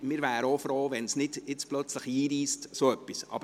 Wir wären aber froh, wenn dergleichen nicht einreissen würde.